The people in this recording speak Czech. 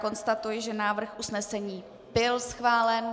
Konstatuji, že návrh usnesení byl schválen.